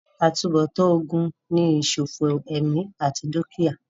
àtúnbọ̀tán ogun ni ìsòfò ẹ̀mí àti dúkìá